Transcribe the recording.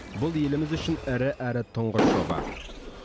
бұл еліміз үшін ірі әрі тұңғыш жоба